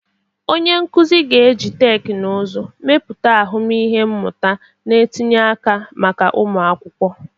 Onye nkuzi ga-eji teknụzụ mepụta ahụmịhe mmụta na-etinye aka maka ụmụ akwụkwọ.